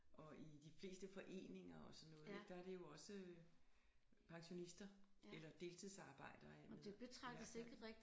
Og i de fleste foreninger og sådan noget der er det jo også pensionister eller deltidsarbejdere i hvert fald